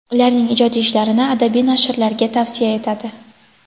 ularning ijodiy ishlarini adabiy nashrlarga tavsiya etadi;.